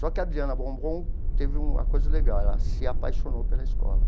Só que a Adriana Bombom teve uma coisa legal, ela se apaixonou pela escola.